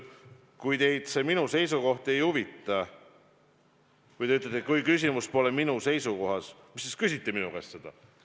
Kui teid see minu seisukoht ei huvita, kui te ütlete, et küsimus pole minu seisukohas, siis miks te küsite minu käest seda?